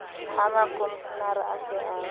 ha mokomshenara a se a